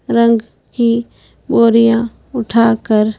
रंग की बोरियां उठाकर--